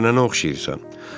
Xəstələnənə oxşayırsan.